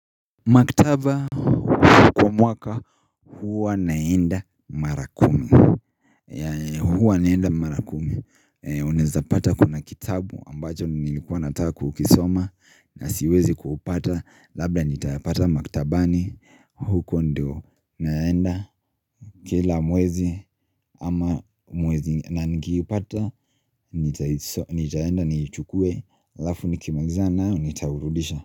Maktaba kwa mwaka huwa naenda mara kumi ya huwa naenda mara kumi Unaweza pata kuna kitabu ambacho nilikuwa nataka kukisoma na siwezi kupata labda nitapata maktabani huko ndio naenda Kila mwezi ama mwezi na nikiipata nitaenda niichukue alafu nikimalizana nayo nitaurudisha.